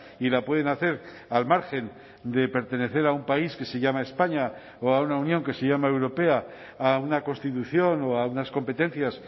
y la pueden hacer al margen de pertenecer a un país que se llama españa o a una unión que se llama europea a una constitución o a unas competencias